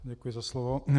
Děkuji za slovo.